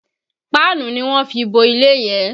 Páànù ni wọ́n fi bo ilé yẹn